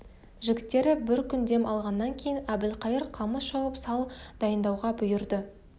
жігіттері бір күн дем алғаннан кейін әбілқайыр қамыс шауып сал дайындауға бұйырды